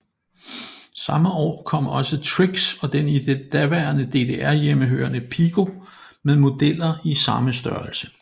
Samme år kom også Trix og den i det daværende DDR hjemmehørende Piko med modeller i samme størrelse